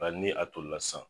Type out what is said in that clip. Bari ni a toli la san.